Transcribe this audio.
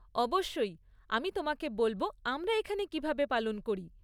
অবশ্যই আমি তোমাকে বলব আমরা এখানে কীভাবে পালন করি।